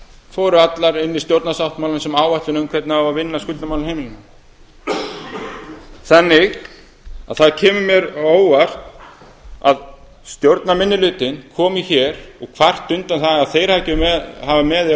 fóru allar inn í stjórnarsáttmálann sem áætlun um hvernig á að vinna að skuldamálum heimilanna þannig að það kemur mér á óvart að stjórnarminnihlutinn komi hér og kvarti undan því að þeir hafi ekki verið með í ráðum